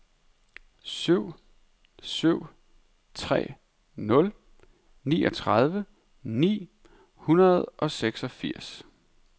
syv syv tre nul niogtredive ni hundrede og seksogfirs